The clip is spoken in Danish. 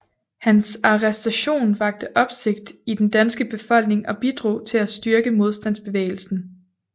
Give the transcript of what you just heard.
Hans arrestation vakte opsigt i den danske befolkning og bidrog til at styrke modstandsbevægelsen